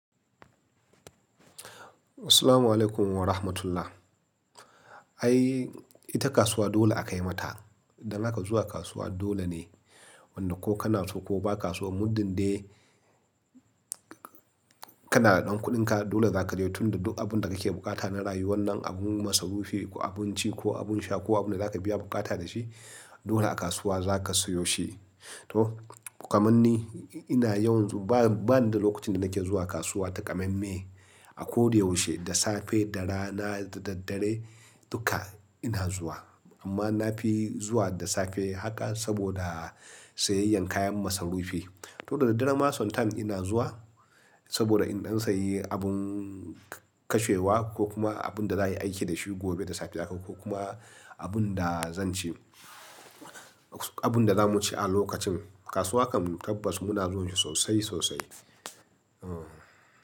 Assalamualaikum Warahmatullah. Ai, ita kasuwa dole akai mata. Dan haka zuwa kasuwa dole ne, wanda ko kanaso ko bakaso muddin dai kana da ɗan kuɗinka, dole za ka je tun da duk abin da kake buƙata na rayuwan nan, abun masarufi ko abun ci ko abun sha ko abin da zaka biya buƙata da shi, dole a kasuwa za ka sayo shi. To, kaman ni, ina yawanzu ba, bani da lokacin da nake zuwa kasuwa ta ƙamamme. A koyaushe, da safe, da rana, da daddare, duka ina zuwa. Amma na fi zuwa da safe haka saboda sayayyan kayan masarufi. To, da daddare ma sometime ina zuwa saboda in ɗan sayi abun kashewa ko kuma abun da da ayi aiki da shi gobe da safe haka ko kuma abin da zan ci, abin da za mu ci a lokacin. Kasuwa kam tabbas muna zuwan shi sosai sosai. Uhn.